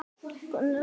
Steinn getur átt við